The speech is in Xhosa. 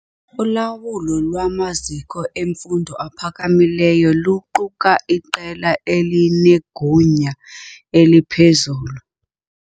Ulawulo lwamaziko emfundo ephakamileyo luquka iqela elinegunya eliphezulu.